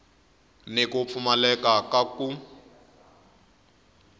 ni ku pfumaleka ka ku